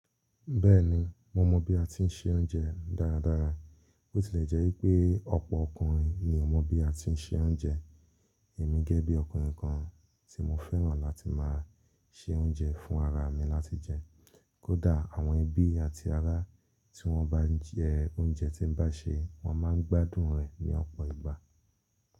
Bẹ́ẹ̀ni, mo mọ bí a ti ń se oúnjẹ dáradára. Ó tilẹ̀ jẹ́ pé ọ̀pọ̀ ọkùnrin ni ò mọ bí a ti ń se oúnjẹ. Èmi gẹ́gẹ́ bí ọkùnrin kan tí mo fẹ́ràn láti máa se oúnjẹ fún ara mi láti jẹ. Kódà àwọn ẹbí àti ará tí wọ́n bá jẹ oúnjẹ tí bá ṣe, wọ́n máa ń gbádùn rẹ̀ ní ọ̀pọ̀ ìgbà.